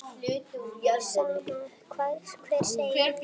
Sama hvað hver segir.